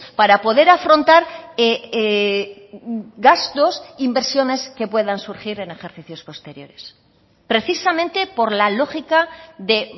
para poder afrontar gastos inversiones que puedan surgir en ejercicios posteriores precisamente por la lógica de